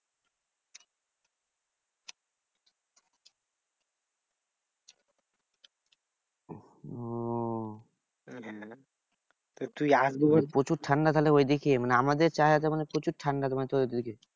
ওহ প্রচুর ঠান্ডা তাহলে ঐদিকে? মানে আমাদের প্রচুর ঠান্ডা মানে তোদের ঐদিকে।